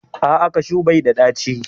A'a, kashu bai da ɗaci